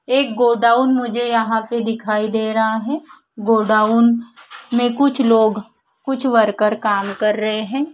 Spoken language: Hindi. एक गोडाउन मुझे यहां पे दिखाई दे रहा है गोडाउन में कुछ लोग कुछ वर्कर काम कर रहे हैं।